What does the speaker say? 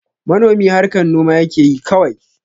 Manomi harkan noma yakeyi kawai